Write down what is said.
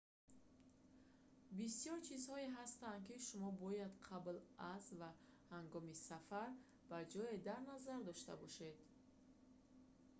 бисёр чизҳое ҳастанд ки шумо бояд қабл аз ва ҳангоми сафар ба ҷое дар назар дошта бошед